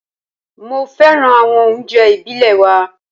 Mo féràn àwọn oúnjẹ ìbílè wa.